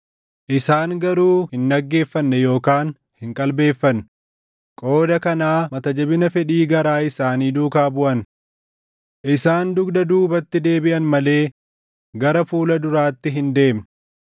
Isaan garuu hin dhaggeeffanne yookaan hin qalbeeffanne; qooda kanaa mata jabina fedhii garaa isaanii duukaa baʼan. Isaan dugda duubatti deebiʼan malee gara fuula duraatti hin deemne.